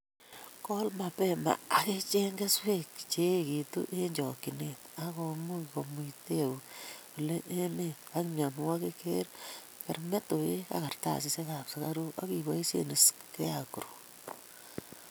Kol mapema akicheng' kesweek che ekitu eng chokchinet akomuchi komuitae oleu emet ak mienwokik ,keree metowek kartasishekab sukaruk akiboisie scarecrow